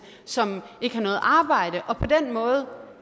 som ikke har noget arbejde og på den måde